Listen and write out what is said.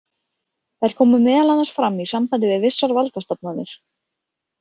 Þær koma meðal annars fram í sambandi við vissar valdastofnanir.